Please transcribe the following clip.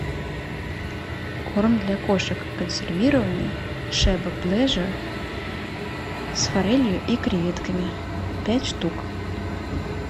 корм для кошек консервированный шеба плеже с форелью и креветками пять штук